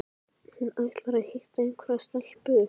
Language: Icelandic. Hann ætlar að hitta einhverja stelpu